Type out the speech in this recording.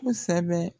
Kosɛbɛ